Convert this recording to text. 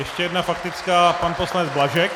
Ještě jedna faktická - pan poslanec Blažek.